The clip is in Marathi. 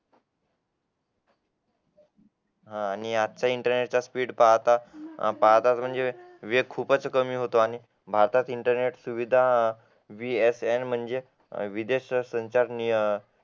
हा आणि इंटरनेटचा स्पीड पाहता पाहता म्हणजे वेळ खूप कमी होतो आणि भारतात इंटरनेट सुविधा VSN म्हणजे विदेश संचार नियमन